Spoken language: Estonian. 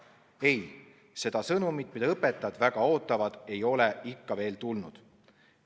Ei, seda sõnumit, mida õpetajad väga ootavad, ei ole ikka veel tulnud.